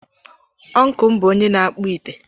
Ọncụl m bụ onye na-akpụ ite.